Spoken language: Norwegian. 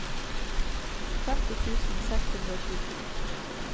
femti tusen seks hundre og tjueto